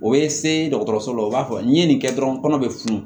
O ye se dɔgɔtɔrɔso la o b'a fɔ n'i ye nin kɛ dɔrɔn kɔnɔ bɛ funu